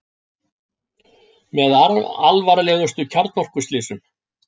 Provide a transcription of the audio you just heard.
Með alvarlegustu kjarnorkuslysum